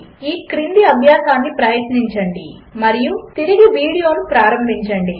ఈ క్రింది అభ్యాసమును ప్రయత్నించండి మరియు వీడియోను తిరిగి ప్రారంభించండి